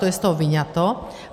To je z toho vyňato.